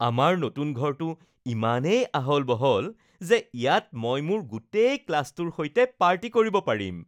আমাৰ নতুন ঘৰটো ইমানেই আহল-বহল যে ইয়াত মই মোৰ গোটেই ক্লাছটোৰ সৈতে পাৰ্টি কৰিব পাৰিম